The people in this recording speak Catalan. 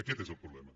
aquest és el problema